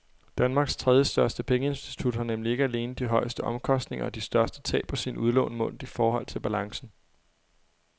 Danmarks tredjestørste pengeinstitut har nemlig ikke alene de højeste omkostninger og de største tab på sine udlån målt i forhold til balancen.